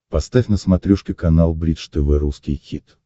поставь на смотрешке канал бридж тв русский хит